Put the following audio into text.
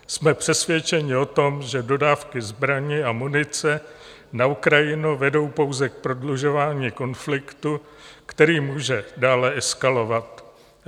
Jsme přesvědčeni o tom, že dodávky zbraní a munice na Ukrajinu vedou pouze k prodlužování konfliktu, který může dále eskalovat.